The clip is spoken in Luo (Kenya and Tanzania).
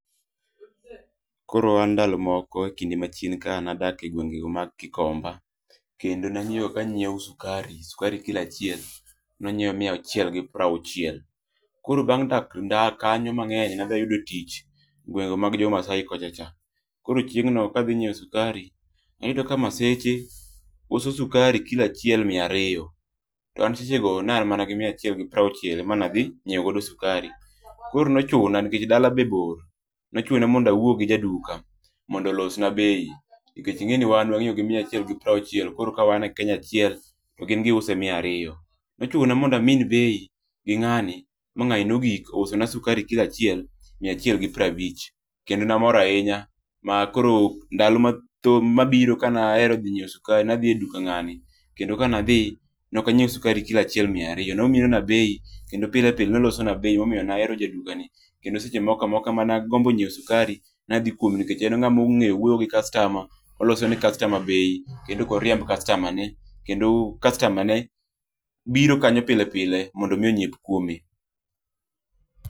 Koro an ndalo moko e kinde machien ka nadak e gwenge go mag Gikomba. Kendo ka nyieo sukari, skari kila chiel nwanyieo mia auchiel gi pruachiel. Koro bang' nda dak kanyo mang'eny nadhia ayudo tich gwengego mag jomasai kochacha. Koro chieng' no kadhi nyieo sukari, tayudo ka maseche uso sukari kilo achiel miario, to an sechego naan mana gi mia achiel gi prauchiel emanadhi nyiego sukari. Koro nochuna nkech dala be bor, nochuna monda wuo gi jaduka mondo losna bei, nkech ing'eni wan wang'iogi mia achiel gi prauchiel, koro ka wan e Kenya achiel to gin giuse mia ario. Nochuna mondo amin bei gi ng'ani ma ng'ani nogik ousona sukari kilo achiel mia achiel gi prabich. Kendo na mor ainya ma koro ndalo matho mabiro kana ero nyieo sukari nadhi e duka ng'ani, kendo kanadhi nokanyieo sukari kilo achiel mia ario. Nominona bei kendo pile pile nolosona bei momio naero jadukani, kendo seche moka moka ma nagombo nyieo sukari nadhi kwome nikech en ng'ama ong'eyo wuoyo gi kastama, oloso ne kastama bei kendo okoriemb kastama ne kendo kastama ne biro kanyo pile pile mondo mi onyieo kwome.